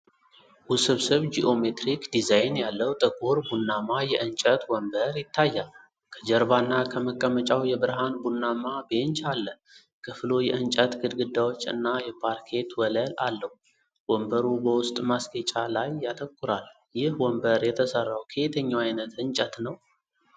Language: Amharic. ውስብስብ ጂኦሜትሪክ ዲዛይን ያለው ጥቁር ቡናማ የእንጨት ወንበር ይታያል። ከጀርባና ከመቀመጫው የብርሃን ቡናማ ቤንች አለ። ክፍሉ የእንጨት ግድግዳዎች እና የፓርኬት ወለል አለው። ወንበሩ በውስጥ ማስጌጫ ላይ ያተኩራል። ይህ ወንበር የተሰራው ከየትኛው ዓይነት እንጨት ነው?